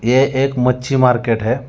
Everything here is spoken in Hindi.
ये एक मच्छी मार्केट है।